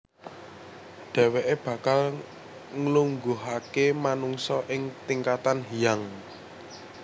Dhèwèké bakal nglungguhaké manungsa ing tingkatan Hyang